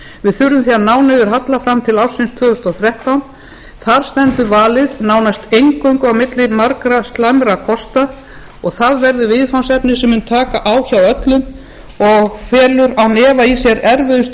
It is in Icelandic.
við þurfum því að ná til halla fram til ársins tvö þúsund og þrettán þar stendur valið nánast eingöngu milli margra slæmra kosta og það verður viðfangsefni sem mun taka á hjá öllum og felur án efa í sér erfiðustu